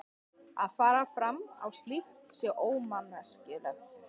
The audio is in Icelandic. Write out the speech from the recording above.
Að fara fram á slíkt sé ómanneskjulegt.